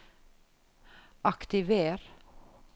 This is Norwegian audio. aktiver